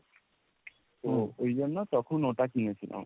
তো ওই জন্য তখন ওটা কিনেছিলাম।